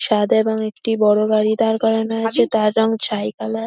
সাদা এবং একটি বড় গাড়ি দাঁড় করানো আছে। তার রঙ ছাই কালার ।